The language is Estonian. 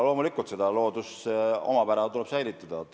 Loomulikult tuleb seda looduse omapära säilitada.